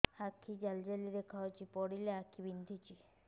ଆଖି ଜାଲି ଜାଲି ଦେଖାଯାଉଛି ପଢିଲେ ଆଖି ବିନ୍ଧୁଛି